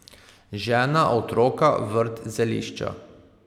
Žena, otroka, vrt, zelišča.